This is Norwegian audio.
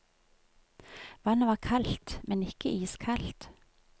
Vannet var kaldt, men ikke iskaldt.